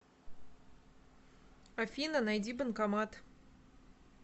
афина найди банкомат